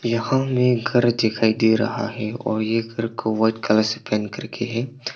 यहाँ में घर दिखाई दे रहा है और ये घर को व्हाइट कलर से पेंट करके है।